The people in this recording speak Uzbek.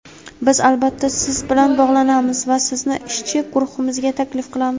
Biz albatta siz bilan bog‘lanamiz va sizni ishchi guruhimizga taklif qilamiz.